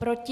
Proti?